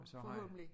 Forhåbentligt